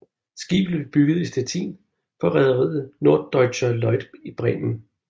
Skibet blev bygget i Stettin for rederiet Norddeutscher Lloyd i Bremen